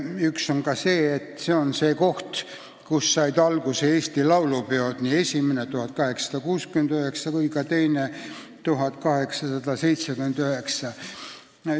Üks on see, et see on koht, kust said alguse Eesti laulupeod, nii esimene aastal 1869 kui ka teine aastal 1879.